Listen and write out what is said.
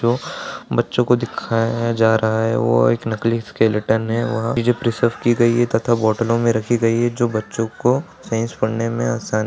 जो बच्चो को दिखाया जा रहा है वो एक नकली स्केलेटन है। वहाँ ये जो प्रीजर्व की गई है तथा बॉटलों में रखी गयी है जो बच्चो को साइंस पढ़ने में आसान --